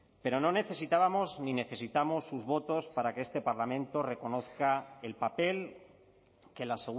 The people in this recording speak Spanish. pero no necesitábamos ni necesitamos sus votos para que este parlamento reconozca el papel que la